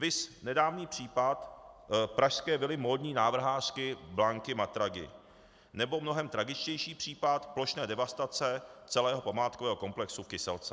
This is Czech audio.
Viz nedávný případ pražské vily módní návrhářky Blanky Matragi, nebo mnohem tragičtější případ plošné devastace celého památkového komplexu v Kyselce.